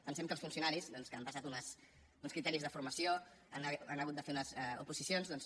pensem que els funcionaris doncs que han passat uns criteris de formació han hagut de fer unes oposicions doncs